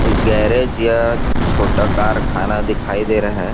कोई गैरेज या छोटा कारखाना दिखाई दे रहा हैं।